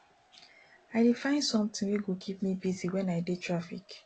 i dey find sometin wey go keep me busy wen i dey traffic